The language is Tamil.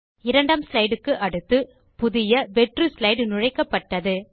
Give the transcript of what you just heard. இரண்டாம் ஸ்லைடு க்கு அடுத்து புதிய வெற்று ஸ்லைடு நுழைக்கப்பட்டது